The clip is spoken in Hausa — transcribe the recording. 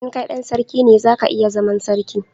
in kai dan sarki ne, za ka iya zaman sarki